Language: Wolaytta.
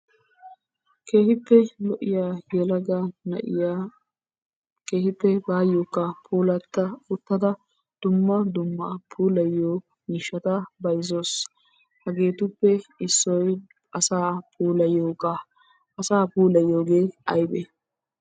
Keehippe lo"iya yelaga naa'iya keehippe bayokka puulata uttada dumma dumma puulayyiyo miishshata bayzzawusu. Hageetuppe issoy asaa puulaytiyooga. Asaa puulayyiyooge aybbe?